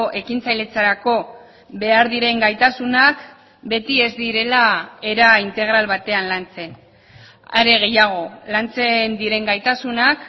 ekintzailetzarako behar diren gaitasunak beti ez direla era integral batean lantzen are gehiago lantzen diren gaitasunak